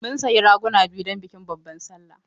Mun sayi raguna biyu don bikin babban sallah.